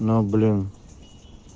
ну блин